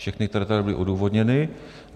Všechny, které tady byly odůvodněny.